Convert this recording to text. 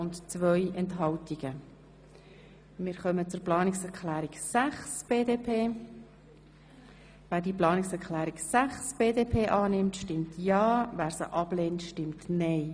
Wer den Bericht mit den Planungserklärungen 1 und 2 zur Kenntnis nimmt, stimmt ja, wer die Kenntnisnahme ablehnt, stimmt nein.